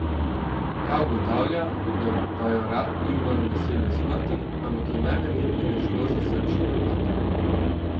Ta ugotavlja, da Bajorat ni umrl nasilne smrti, ampak je najverjetneje šlo za srčni napad.